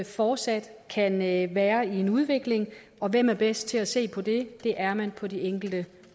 fortsat kan være være i en udvikling og hvem er bedst til at se på det det er man på de enkelte